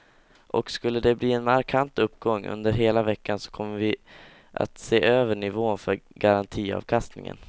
Och skulle de bli en markant uppgång under hela veckan så kommer vi att se över nivån för garantiavkastningen.